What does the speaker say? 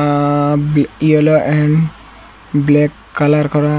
আ-ইয়োলো and black colour করা।